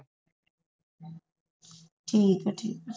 ਠੀਕ ਹੈ ਠੀਕ ਹੈ